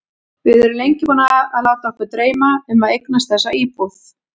Við erum lengi búin að láta okkur dreyma um að eignast þessa íbúð.